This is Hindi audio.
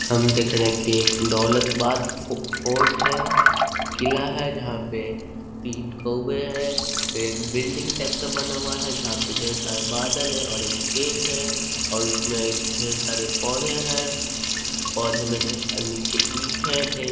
हम देख रहे हैं की एक दौलताबाद फ़ो फोर्ट है किला है जहाँ पे तीन कऊवे हैं फिर एक बिल्डिंग टाइप से बना हुआ है जहाँ पे ढेर सारा बादल है और एक गेट है और उसमें ढेर सारे पौधे हैं पौधे में ढे अ नीचे ईंट हैं ढेर --